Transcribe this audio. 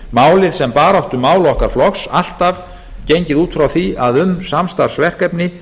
málið sem baráttumál okkar flokks alltaf gengið út frá því að um samstarfsverkefni